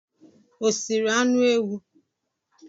O siri anụ ewu?